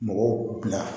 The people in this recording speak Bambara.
Mɔgɔw bila